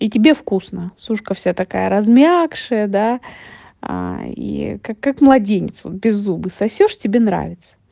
и тебе вкусно сушка вся такая размякшая да а и как как младенец беззубый сосёшь тебе нравится